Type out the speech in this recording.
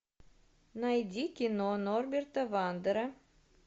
найди кино норберта вандера